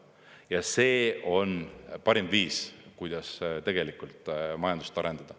Ja see on parim viis, kuidas tegelikult majandust arendada.